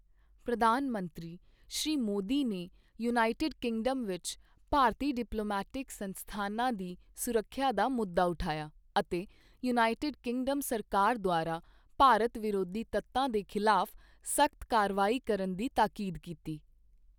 ਪ੍ਰਧਾਨ ਮੰਤਰੀ ਸ਼੍ਰੀ ਮੋਦੀ ਨੇ ਯੂਨਾਈਟੇਡ ਕਿੰਗਡਮ ਵਿੱਚ ਭਾਰਤੀ ਡਿਪਲੋਮੈਟਿਕ ਸੰਸਥਾਨਾਂ ਦੀ ਸੁਰੱਖਿਆ ਦਾ ਮੁੱਦਾ ਉਠਾਇਆ ਅਤੇ ਯੂਨਾਈਟੇਡ ਕਿੰਗਡਮ ਸਰਕਾਰ ਦੁਆਰਾ ਭਾਰਤ ਵਿਰੋਧੀ ਤੱਤਾਂ ਦੇ ਖਿਲਾਫ਼ ਸਖ਼ਤ ਕਾਰਵਾਈ ਕਰਨ ਦੀ ਤਾਕੀਦ ਕੀਤੀ।